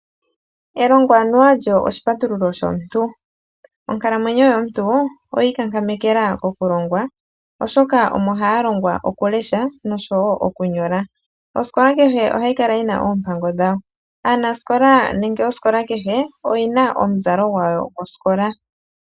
Elongo anuwa olyo oshipatululo shomuntu. Onkalamwenyo yomuntu oya iikankametela mokulongwa oshoka omo haya longwa okulesha nosho woo okunyola. Osikola kehe ohayi kala yina oompango dhawo. Oosikola kehe odhina omizalo dhawo dhosikola.